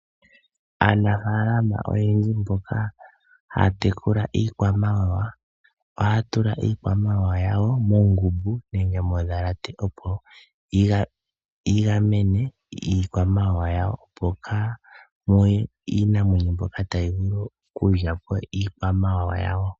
Aanafaalama oyendji mboka haya tekula iikwamawawa , ohaya tula iikwamawawa yawo moondhalate nenge moongumbu opo yigamene iikwamawawa yawo opo kamuye iinamwenyo mbyoka tayi vulu okuyi lyapo.